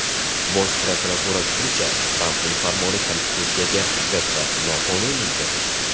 Bosh prokurorlar fikricha, Trampning farmoni konstitutsiyaga zid va noqonuniydir.